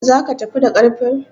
Zaka tafi da ƙarfen?